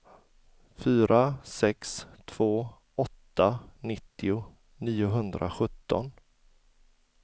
fyra sex två åtta nittio niohundrasjutton